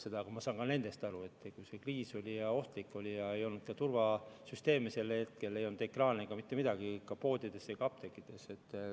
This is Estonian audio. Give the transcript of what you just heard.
Aga ma saan nendest aru, oli kriis, oli ohtlik ja ei olnud ka turvasüsteeme, ei olnud ekraane ega mitte midagi poodides ega apteekides.